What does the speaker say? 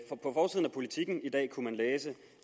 politiken i dag kunne man læse